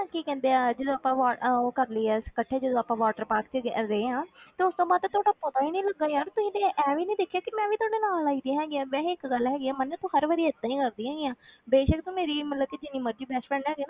ਕੀ ਕਹਿੰਦੇ ਆ ਜਦੋਂ ਆਪਾਂ ਵਾ~ ਅਹ ਉਹ ਕਰ ਲਈ ਆ, ਇਕੱਠੇ ਜਦੋਂ ਆਪਾਂ water park ਵਿੱਚ ਅਹ ਗਏ ਹਾਂ ਤੇ ਉਸ ਤੋਂ ਬਾਅਦ ਤਾਂ ਤੁਹਾਡਾ ਪਤਾ ਹੀ ਨੀ ਲੱਗਾ ਯਾਰ ਤੁਸੀਂ ਤੇ ਐਵੇਂ ਨੀ ਦਿਖੇ ਕਿ ਮੈ ਵੀ ਤੁਹਾਡੇ ਨਾਲ ਆਈ ਹੋਈ ਹੈਗੀ ਹਾਂ, ਵੈਸੇ ਇੱਕ ਗੱਲ ਹੈਗੀ ਹੈ ਮੰਨੇ ਤੂੰ ਹਰ ਵਾਰੀ ਏਦਾਂ ਹੀ ਕਰਦੀ ਹੈਗੀ ਆਂ ਬੇਸ਼ਕ ਮੇਰੀ ਮਤਲਬ ਕਿ ਜਿੰਨੀ ਮਰਜ਼ੀ best friend ਹੈ,